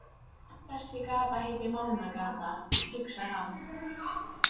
Þessi gata heitir Mánagata, hugsar hann.